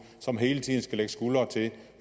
som hele tiden skal lægge skuldre til